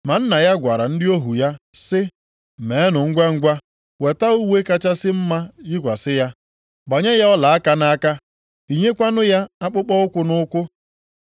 “Ma nna ya gwara ndị ohu ya sị, ‘Meenụ ngwangwa weta uwe kachasị mma yikwasị ya. Gbanye ya ọlaaka nʼaka, yinyekwanụ ya akpụkpọụkwụ nʼụkwụ.